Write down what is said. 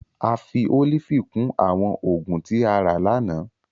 A fi olifi kun awọn oogun ti a ra lana.